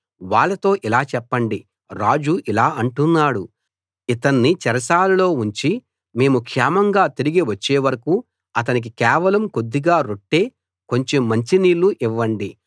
వాళ్ళతో ఇలా చెప్పండి రాజు ఇలా అంటున్నాడు ఇతన్ని చెరసాలలో ఉంచి మేము క్షేమంగా తిరిగి వచ్చే వరకూ అతనికి కేవలం కొద్దిగా రొట్టె కొంచెం మంచినీళ్లు ఇవ్వండి